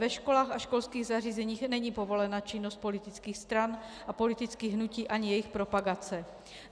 Ve školách a školských zařízeních není povolena činnost politických stran a politických hnutí ani jejich propagace.